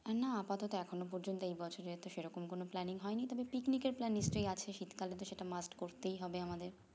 না আপাতত এখনো পর্যন্ত এই বছরের তো সেরকম কোনো planning হয়নি তবে picnic এর plan নিশ্চই আছে শীতকালে তো সেটা must করতেই হবে আমাদের